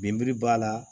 Binberi b'a la